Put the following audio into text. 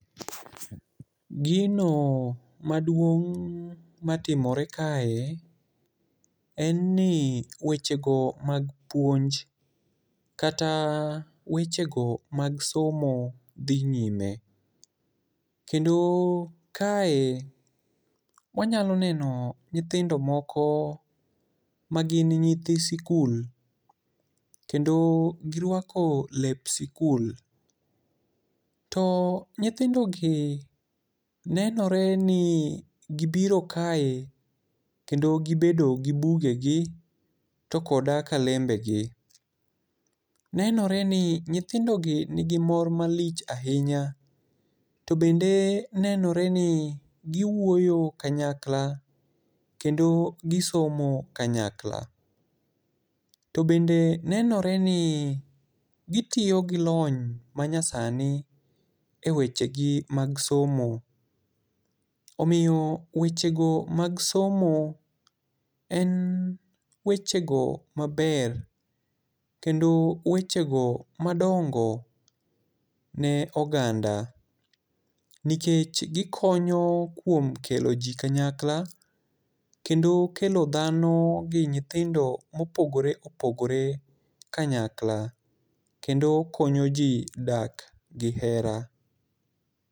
Gino maduong' matimore kae en ni wechego mag puonj kata wechego mag somo dhi nyime. Kendo kae wanyalo neno nyithindo moko magin nyithi sikul kendo girwako lep sikul. To nyithindogi nenore ni gibiro kae kendo gibedo gi bugegi to koda kalembegi. Nenore ni nyithindogi nigi mor malich ahinya kendo nenore ni giwuoyo kanyakla kendo gisomo kanyakla. To bende nenore ni gitiyo gi lony manyasani ewechegi mag somo. Omiyo wechego mag somo en wechego maber kendo wechego madongo ne oganda nikech gikonyo kuom kelo ji kanyakla kendo kelo dhano gi nyithindo mopogore opogore kanyakla kendo konyoji dak gi hera.